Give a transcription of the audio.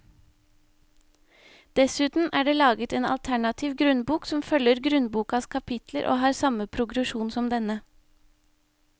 Dessuten er det laget en alternativ grunnbok som følger grunnbokas kapitler og har samme progresjon som denne.